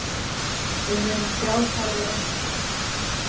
Við munum sjá hvar við endum.